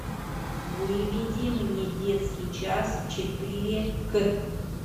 выведи мне детский час четыре к